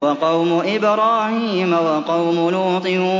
وَقَوْمُ إِبْرَاهِيمَ وَقَوْمُ لُوطٍ